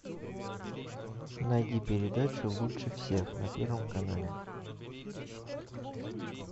найди передачу лучше всех на первом канале